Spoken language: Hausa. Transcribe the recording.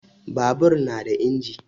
Babur na da inji.